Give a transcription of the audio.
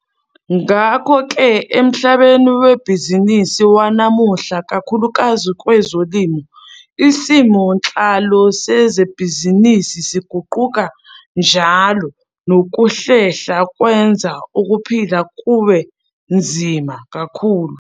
Ngakho-ke, emhlabeni webhizinisi wanamuhla, ikakhulukazi kwezolimo, isimo nhlalo sezebhizinisi siguquka njalo nokuhlehla kwenza ukuphila kube nzima kakhulu.